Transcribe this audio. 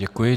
Děkuji.